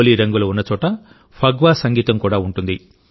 హోలీ రంగులు ఉన్నచోట ఫగ్వా సంగీతం కూడా ఉంటుంది